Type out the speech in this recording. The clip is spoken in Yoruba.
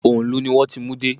Òǹlù ni wón ti mú dé.